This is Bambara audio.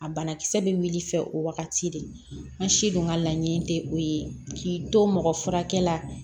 A banakisɛ bɛ wuli fɛ o wagati de n si dun ka laɲini tɛ o ye k'i to mɔgɔ furakɛ la